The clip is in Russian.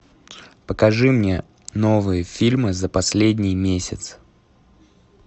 покажи мне новые фильмы за последний месяц